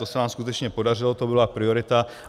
To se vám skutečně podařilo, to byla priorita.